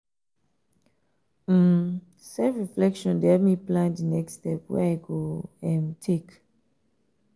um self-reflection dey help me plan di next step um wey i go um take.